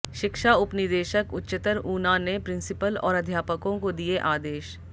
शिक्षा उपनिदेशक उच्चतर ऊना ने प्रिंसीपल और अध्यापकों को दिए आदेश